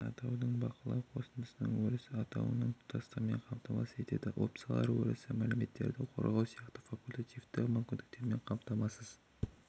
атаудың бақылау қосындысының өрісі атауының тұтастығын қамтамасыз етеді опциялар өрісі мәліметтерді қорғау сияқты факультативті мүмкіндіктермен қамтамасыз